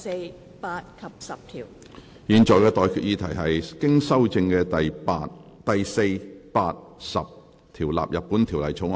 我現在向各位提出的待決議題是：經修正的第4、8及10條納入本條例草案。